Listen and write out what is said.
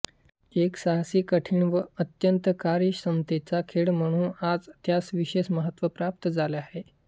एक साहसी कठीण व अत्यंत कार्यक्षमतेचा खेळ म्हणू आज त्यास विशेष महत्त्व प्राप्त झाले आहे